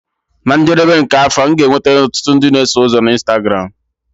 Na njedebe nke afọ, m ga-enweta ọtụtụ ndị na-eso ụzọ na Instagramu.